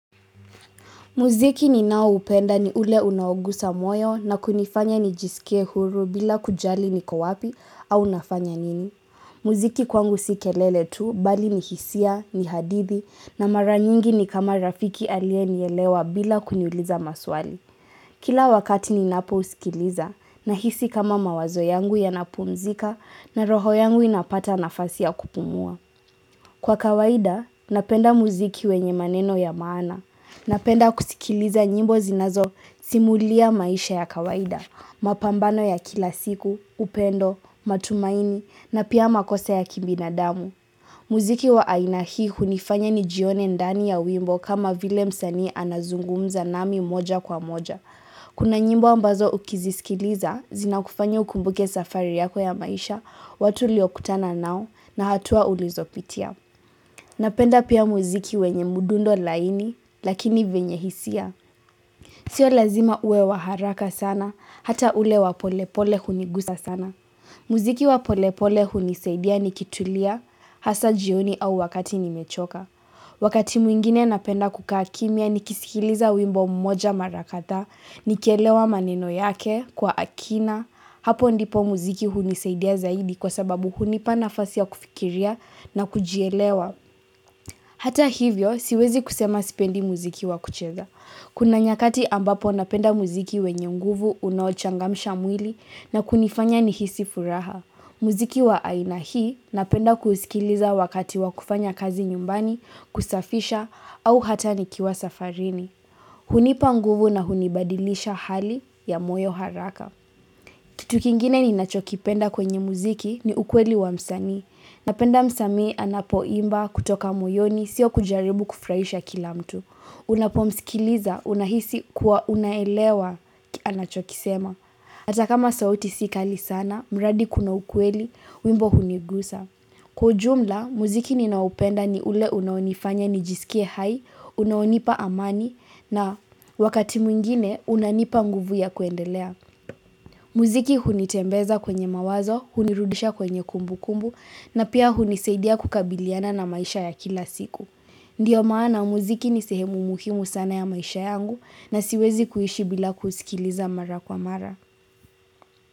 Muziki ninao upenda ni ule unaogusa moyo na kunifanya nijisikie huru bila kujali niko wapi au nafanya nini. Muziki kwangu si kelele tu bali ni hisia, ni hadithi na mara nyingi ni kama rafiki alie nielewa bila kuniuliza maswali. Kila wakati ninapo usikiliza nahisi kama mawazo yangu yanapumzika na roho yangu inapata nafasi ya kupumua. Kwa kawaida, napenda muziki wenye maneno ya maana. Napenda kusikiliza nyimbo zinazo simulia maisha ya kawaida, mapambano ya kila siku, upendo, matumaini na pia makosa ya kibinadamu. Muziki wa aina hii hunifanya nijione ndani ya wimbo kama vile msanii anazungumza nami moja kwa moja. Kuna nyimbo ambazo ukizisikiliza, zinakufanya ukumbuke safari yako ya maisha, watu uliokutana nao na hatua ulizopitia. Napenda pia muziki wenye mudundo laini, lakini venye hisia. Sio lazima ue wa haraka sana, hata ule wa pole pole hunigusa sana. Muziki wa polepole hunisaidia ni kitulia, hasa jioni au wakati nimechoka. Wakati mwingine napenda kukaa kimya ni kisikiliza wimbo mmoja mara kadhaa, nikielewa maneno yake, kwa akina, hapo ndipo muziki hunisaidia zaidi kwa sababu hunipa nafasi ya kufikiria na kujielewa. Hata hivyo siwezi kusema sipendi muziki wa kucheza. Kuna nyakati ambapo napenda muziki wenye nguvu unaochangamisha mwili na kunifanya nihisi furaha. Muziki wa aina hii napenda kuusikiliza wakati wa kufanya kazi nyumbani, kusafisha, au hata nikiwa safarini. Hunipa nguvu na hunibadilisha hali ya moyo haraka. Kitu kingine ninachokipenda kwenye muziki ni ukweli wa msanii. Napenda msamii anapo imba kutoka moyoni sio kujaribu kufurahisha kila mtu. Unapomsikiliza unahisi kuwa unaelewa anachokisema. Ata kama sauti si kali sana, mradi kuna ukweli, wimbo hunigusa. Kwa ujumla, muziki ninao upenda ni ule unaonifanya nijisikie hai, unaonipa amani na wakati mwingine unanipa nguvu ya kuendelea. Muziki hunitembeza kwenye mawazo, hunirudisha kwenye kumbu kumbu na pia hunisaidia kukabiliana na maisha ya kila siku Ndiyo maana muziki nisehemu muhimu sana ya maisha yangu na siwezi kuishi bila kusikiliza mara kwa mara.